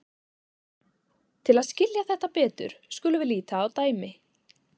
Til að skilja þetta betur skulum við líta á dæmi.